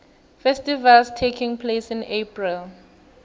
festivals taking place in april